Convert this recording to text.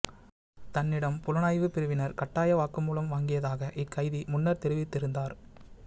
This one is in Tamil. தன்னிடம் புலனாய்வுப் பிரிவினர் கட்டாய வாக்குமூலம் வாங்கியதாக இக்கைதி முன்னர் தெரிவித்திருந்தார்